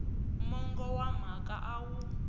mongo wa mhaka a wu